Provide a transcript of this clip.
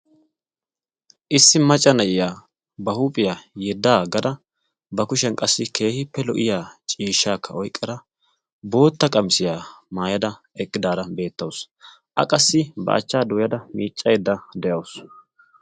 issi maca na'iyaa ba huuphiyaa yiddaa gada ba kushiyan qassi keehi pe lo' iya ciishshaakka oyqqada bootta qamisiyaa maayada eqqidaara beettawusu a qassi baachchaa dooyada miiccaedda de'awusu